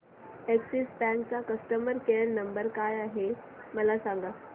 Axis bank चा customer care number काय आहे मला सांगा